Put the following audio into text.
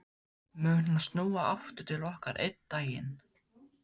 Mun hann snúa aftur til okkar einn daginn?